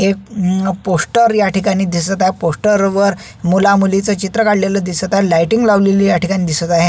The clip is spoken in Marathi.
एक पोस्टर या ठिकाणी दिसत आहे पोस्टर वर मुला मुलीच चित्र काढलेल दिसत आहे लायटिंग लावलेली या ठिकाणी दिसत आहे.